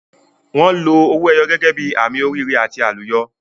Wọn lo owó ẹyọ gẹ́gẹ́ bí àmì oríire àti àlùyọ.